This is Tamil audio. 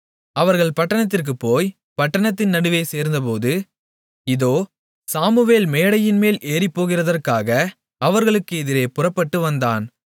அவர்கள் பட்டணத்திற்குப் போய் பட்டணத்தின் நடுவே சேர்ந்தபோது இதோ சாமுவேல் மேடையின்மேல் ஏறிப்போகிறதற்காக அவர்களுக்கு எதிரே புறப்பட்டு வந்தான்